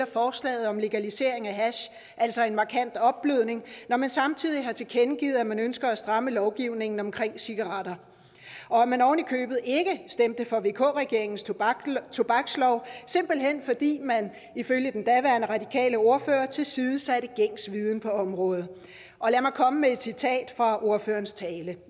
forslaget om legalisering af hash altså en markant opblødning når man samtidig har tilkendegivet at man ønsker at stramme lovgivningen omkring cigaretter og man oven i købet ikke stemte for vk regeringens tobakslov tobakslov simpelt hen fordi man ifølge den daværende radikale ordfører tilsidesatte gængs viden på området og lad mig komme med et citat fra ordførerens tale